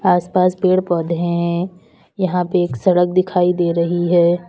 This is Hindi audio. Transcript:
आस पास पेड़ पौधे हैं यहां पे एक सड़क दिखाई दे रही है।